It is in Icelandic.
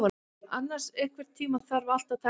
Annas, einhvern tímann þarf allt að taka enda.